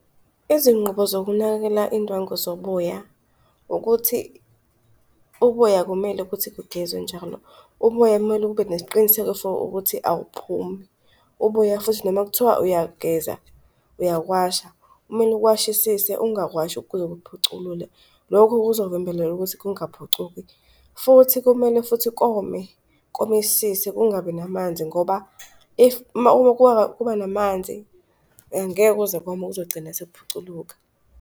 Izinqubo zokunakekela indwangu zoboya ukuthi uboya akumele ukuthi kugezwe njalo. Uboya kumele kube nesiqiniseko sokuthi awuphumi, uboya futhi noma kuthiwa uyageza, uyakuwasha, kumele uwashisise ungawashi kuze kuphuculule. Lokhu kuzovimbelela ukuthi kungaphucuki. Futhi kumele futhi kome, komisise kungabi namanzi, ngoba if, uma uma kuba namanzi angeke kuze kome kuzogcina sekuphuculuka.